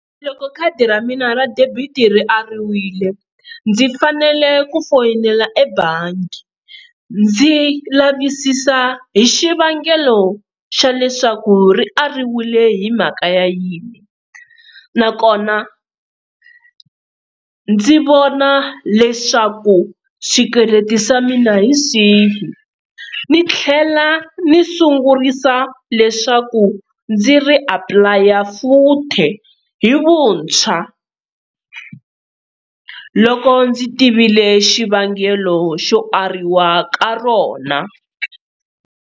Loko khadi ra mina ra debit ri ariwile ndzi fanele ku foyinela ebangi ndzi lavisisa hi xivangelo xa leswaku ri ariwile hi mhaka ya yini, nakona ndzi vona leswaku swikweleti swa mina hi swihi ni tlhela ni sungurisa leswaku ndzi ri apulaya futhi hi vuntshwa loko ndzi tivile xivangelo xo ariwa ka rona.